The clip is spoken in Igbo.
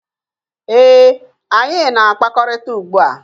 Ee, anyị na-akpakọrịta ugbua.